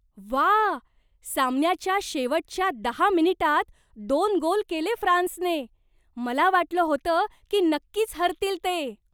व्वा! सामन्याच्या शेवटच्या दहा मिनिटांत दोन गोल केले फ्रान्सने! मला वाटलं होतं की नक्कीच हरतील ते.